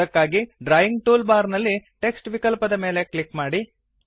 ಅದಕ್ಕಾಗಿ drawing tool bar ನಲ್ಲಿ text ವಿಕಲ್ಪದ ಮೇಲೆ ಕ್ಲಿಕ್ ಮಾಡಿ